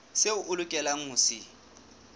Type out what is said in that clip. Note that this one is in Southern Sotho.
seo o lokelang ho se